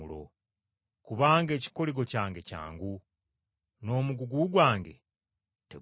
Kubanga ekikoligo kyange kyangu, n’omugugu gwange teguzitowa.”